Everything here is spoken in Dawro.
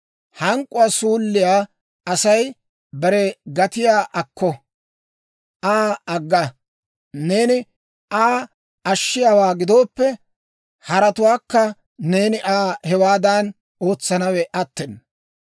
Hank'k'uwaa suulliyaa Asay bare gatiyaa akko; Aa agga; neeni Aa ashshiyaawaa gidooppe, harattuwaakka neeni Aa hewaadan ootsanawe attena.